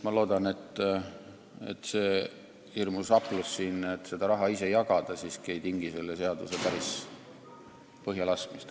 Ma loodan, et see hirmus aplus siin, et seda raha tahetakse ise jagada, siiski ei tingi selle seaduse päris põhjalaskmist.